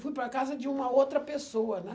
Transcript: Fui para a casa de uma outra pessoa, né?